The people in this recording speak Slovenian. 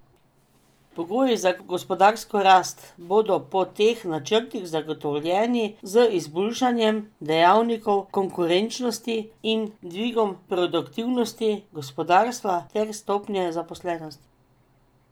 Pogoji za gospodarsko rast bodo po teh načrtih zagotovljeni z izboljšanjem dejavnikov konkurenčnosti in dvigom produktivnosti gospodarstva ter stopnje zaposlenosti.